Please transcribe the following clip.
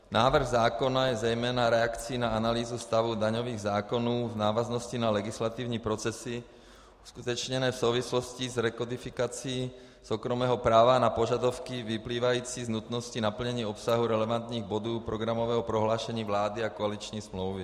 Návrh zákona je zejména reakcí na analýzu stavu daňových zákonů v návaznosti na legislativní procesy uskutečněné v souvislosti s rekodifikací soukromého práva, na požadavky vyplývající z nutnosti naplnění obsahu relevantních bodů programového prohlášení vlády a koaliční smlouvy.